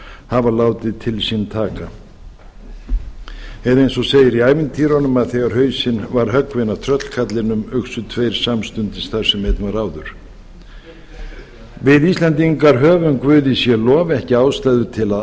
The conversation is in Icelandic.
hafa látið til sín taka eða eins og segir í ævintýrunum að þegar hausinn var höggvinn af tröllkarlinum uxu tveir samstundis þar sem einn var áður við íslendingar höfum guði sé lof ekki ástæðu til að